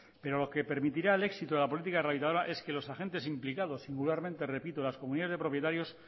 pero lo que permitirá el éxito de la política rehabilitadora es que los agentes implicados singularmente repito las comunidades de propietarios